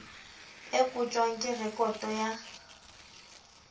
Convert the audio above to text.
e kotjwang ke rekoto ya